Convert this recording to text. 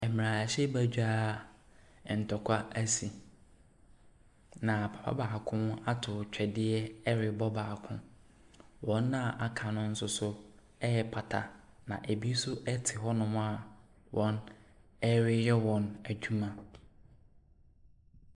Mmarahyɛbadwa a ntɔkwa asi, na papa baako ato twɛdeɛ rebɔ baako. Wɔn a wɔaka no nso so repata na ebi nso te hɔnom a wɔreyɛ wɔn adwuma.